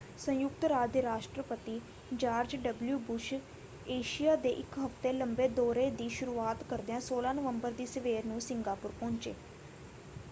ਸੰਯੁਕਤ ਰਾਜ ਦੇ ਰਾਸ਼ਟਰਪਤੀ ਜਾਰਜ ਡਬਲਯੂ ਬੁਸ਼ ਏਸ਼ੀਆ ਦੇ ਇੱਕ ਹਫ਼ਤੇ ਲੰਬੇ ਦੌਰੇ ਦੀ ਸ਼ੁਰੂਆਤ ਕਰਦਿਆਂ 16 ਨਵੰਬਰ ਦੀ ਸਵੇਰ ਨੂੰ ਸਿੰਗਾਪੁਰ ਪਹੁੰਚੇ।